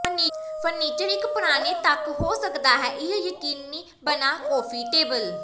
furniture ਇੱਕ ਪੁਰਾਣੇ ਤੱਕ ਹੋ ਸਕਦਾ ਹੈ ਇਹ ਯਕੀਨੀ ਬਣਾ ਕਾਫੀ ਟੇਬਲ